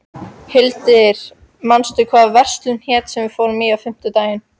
Hildir, manstu hvað verslunin hét sem við fórum í á fimmtudaginn?